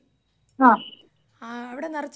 ആ അവിടെ നെറച്ച് മൃഗങ്ങളൊക്കെയുണ്ടോ?